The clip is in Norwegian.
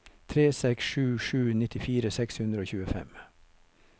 tre seks sju sju nittifire seks hundre og tjuefem